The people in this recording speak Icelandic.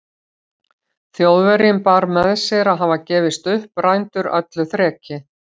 Þjóðverjinn bar með sér að hafa gefist upp, rændur öllu þreki.